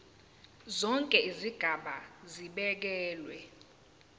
zonke izigaba zibekelwe